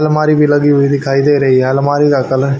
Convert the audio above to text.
अलमारी भी लगी हुई दिखाई दे रही है अलमारी का कलर --